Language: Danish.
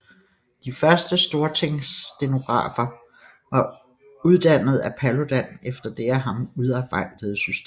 De første Stortingsstenografer var uddannede af Paludan efter det af ham udarbejdede system